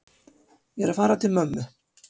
Ég er að fara til mömmu.